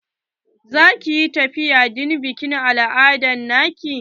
Za ki yi tafiya don bikin al'ada na ki?